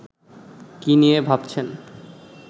কি নিয়ে ভাবছেন